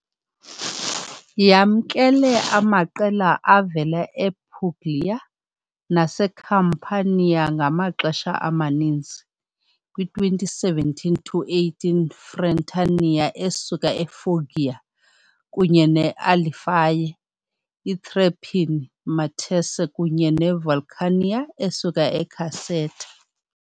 Yamkele amaqela avela ePuglia naseCampania ngamaxesha amaninzi, kwi-2017-18 Frentania esuka eFoggia, kunye ne-Alliphae, i-Tre Pini Matese kunye ne-Vulcania esuka eCaserta.